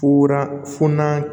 Furaw funa